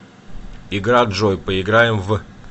игра джой поиграем в